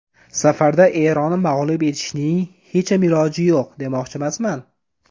Safarda Eronni mag‘lub etishning hecham iloji yo‘q, demoqchimasman.